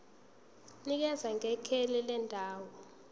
nikeza ngekheli lendawo